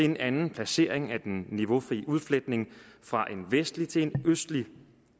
en anden placering af den niveaufri udfletning fra en vestlig til en østlig